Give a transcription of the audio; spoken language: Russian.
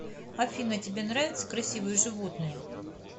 афина тебе нравятся красивые животные